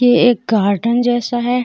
ये एक गार्डन जैसा है।